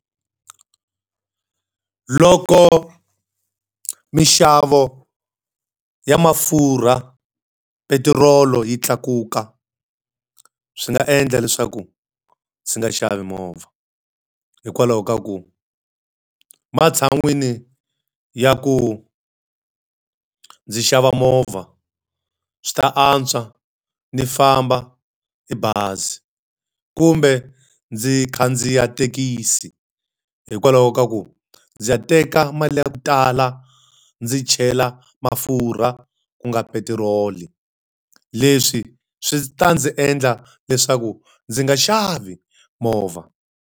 Loko minxavo ya mafurha, petirolo yi tlakuka swi nga endla leswaku ndzi nga xavi movha hikwalaho ka ku matshan'wini ya ku ndzi xava movha, swi ta antswa ni famba hi bazi kumbe ndzi khandziya thekisi hikwalaho ka ku ndzi ya teka mali ya ku tala ndzi chela mafurha ku nga petiroli. Leswi swi ta ndzi endla leswaku ndzi nga xavi movha.